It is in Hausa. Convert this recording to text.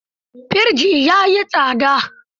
Firji ya yi tsada.